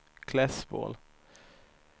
Klässbol